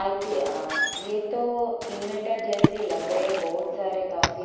आईते अ ये तो इनवर्टर जैसी लग रहे बहुत सारे काफी--